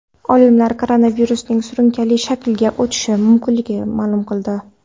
Olimlar koronavirusning surunkali shaklga o‘tishi mumkinligini ma’lum qildi.